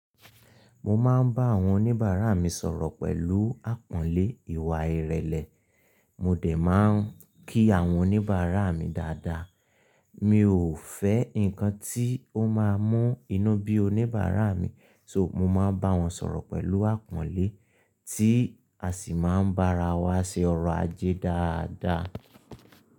Mo máa ń bá àwọn oníbàárà mi sọ̀rọ̀ pẹ̀lú àpọ́nlé ìwà ìrẹ̀lẹ̀, mo dẹ̀ máa ń kí àwọn oníbàárà mi dáadáa. Mi ò fẹ́ ǹkan tí ó máa mú inú bí oníbàárà mi, so, mo máa bá wọn sọ̀rọ̀ pẹ̀lú àpọ́nlé tí a sì máa ń bá ara wa ṣe ọrọ̀ ajé dáadáa.